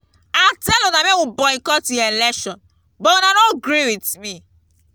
i tell una make we boycott im election but una no gree with me